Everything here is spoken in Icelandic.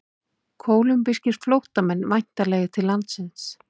Kólumbískir flóttamenn væntanlegir til landsins